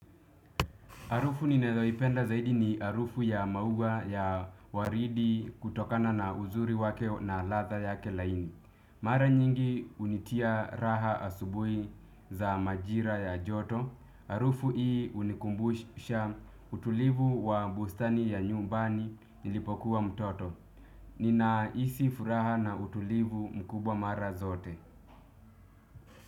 Harufu ninyoipenda zaidi ni harufu ya maua ya waridi kutokana na uzuri wake na ladha yake laini. Mara nyingi hunitia raha asubuhi za majira ya joto. Harufu hii hunikumbusha utulivu wa bustani ya nyumbani nilipokuwa mtoto. Ninahisi furaha na utulivu mkubwa mara zote.